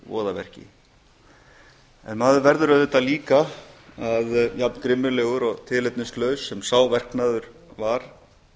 voðaverki en maður verður auðvitað líka jafngrimmilegur og tilefnislaus sem sá verknaður var